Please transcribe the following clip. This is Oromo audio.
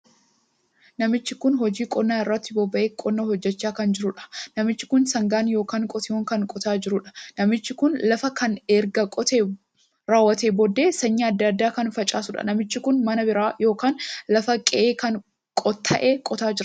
Namichi kun hojii qonnaa irratti bobbahee qonnaa hojjechaa kan jiruudha. Namni kun sangaadhaan ykn qotiyyoon kan qotaa jiruudha. namichi kun lafa kana erga qotee raawwateen booda sanyii addaa addaa kan facaasuudha. Namichi kun mana bira ykn lafa qe'ee kan tahee qotaa jira.